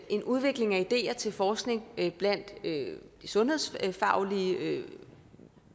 en udvikling af ideer til forskning blandt sundhedsfaglige